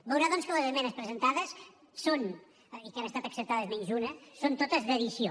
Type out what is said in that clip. veurà doncs que les esmenes presentades són i que han estat acceptades menys una totes d’addició